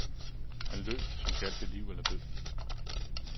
Han løb, som gjaldt det liv eller død.